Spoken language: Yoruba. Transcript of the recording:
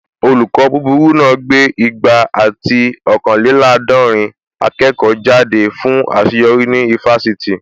Olùkọ́ búburú náà gbé igba ati ọ̀kanlélàádọ̀rìn akẹ́kọ̀ọ́ jáde fún àṣeyọrí ní ifásitì